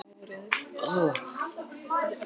Og mér fannst ég hafa þekkt hana lengur.